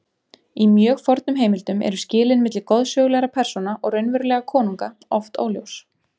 Í mjög fornum heimildum eru skilin milli goðsögulegra persóna og raunverulega konunga oft óljós.